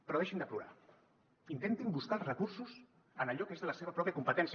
però deixin de plorar in·tentin buscar els recursos en allò que és de la seva pròpia competència